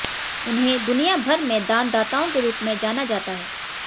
उन्हें दुनिया भर में दानदाताओं के रूप में जाना जाता है